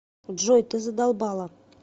джой ты задолбала